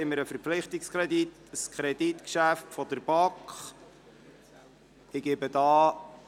Auch hier haben wir ein Kreditgeschäft, welches von der BaK vorberaten wurde.